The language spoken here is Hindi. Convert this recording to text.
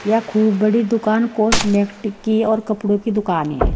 यह खूब बड़ी दुकान कॉस्मेटिक की और कपड़ों की दुकान है।